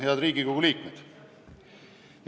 Head Riigikogu liikmed!